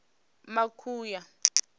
makuya